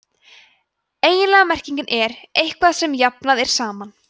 eiginleg merking er „eitthvað sem jafnað er saman“